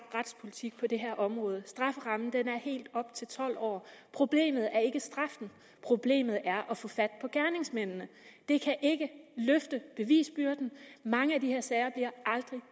retspolitik på det her område strafferammen er helt op til tolv år problemet er ikke straffen problemet er at få fat på gerningsmændene det kan ikke løfte bevisbyrden mange af de her sager bliver aldrig